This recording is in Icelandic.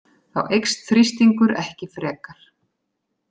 Þá eykst þrýstingur ekki frekar.